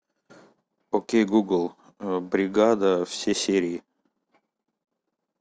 окей гугл бригада все серии